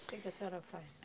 O que que a senhora faz?